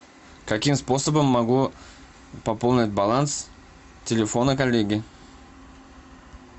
каким способом могу пополнить баланс телефона коллеги